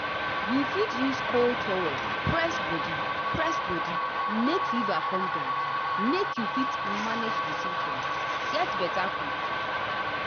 you fit use cold towel press body press body make fever come down make you fit manage di symptoms get beta quick.